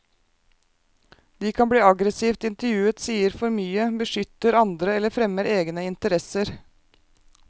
De kan bli aggressivt intervjuet, sier for mye, beskytter andre eller fremmer egne interesser.